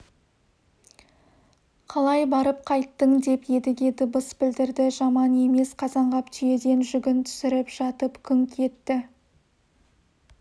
қалай барып қайттың деп едіге дыбыс білдірді жаман емес қазанғап түйеден жүгін түсіріп жатып күңк етті